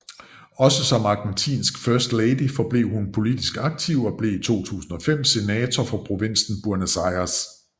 Også som argentinsk first lady forblev hun politisk aktiv og blev i 2005 senator for provinsen Buenos Aires